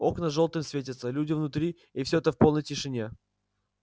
окна жёлтым светятся люди внутри и всё это в полной тишине